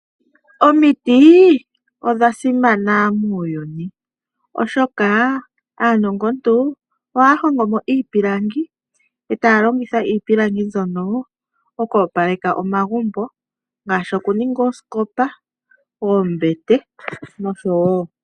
Omitii! Odha simana muuyuni oshoka aanongo ntu ohaa hongomo iipilangi eetaa longitha iipilangi mbyono oku opaleka omagumbo ngaashi oku ninga oosikopa, oombete nosho woo.